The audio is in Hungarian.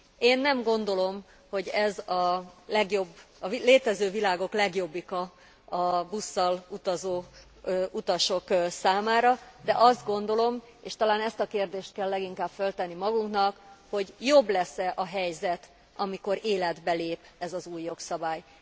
Én nem gondolom, hogy ez a létező világok legjobbika a busszal utazó utasok számára, de azt gondolom, és talán ezt a kérdést kell leginkább föltenni magunknak, hogy jobb lesz e a helyzet, amikor életbe lép ez az új jogszabály.